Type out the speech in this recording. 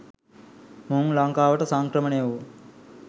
මොවුන් ලංකාවට සංක්‍රමණය වූ